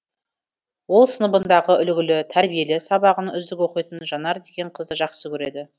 ол сыныбындағы үлгілі тәрбиелі сабағын үздік оқитын жанар деген қызды жақсы көреді